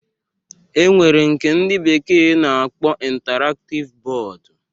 E nwere nke ndị bekee na-akpọ intaraktiv bọọdu